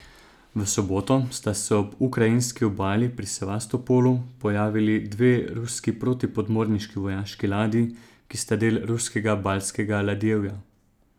V soboto sta se ob ukrajinski obali pri Sevastopolu pojavili dve ruski protipodmorniški vojaški ladji, ki sta del ruskega baltskega ladjevja.